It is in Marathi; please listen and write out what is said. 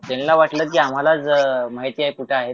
त्यांना वाटलं आम्हालाच माहिती आहे कुठं आहे ते